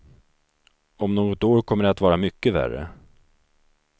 Om något år kommer det att vara mycket värre.